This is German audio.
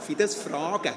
Darf ich dies fragen?